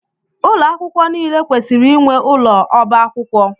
Ụlọ akwụkwọ niile kwesịrị inwe ụlọ ọba akwụkwọ.